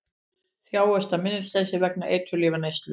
Þjáist af minnisleysi vegna eiturlyfjaneyslu